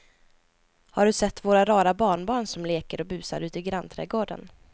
Har du sett våra rara barnbarn som leker och busar ute i grannträdgården!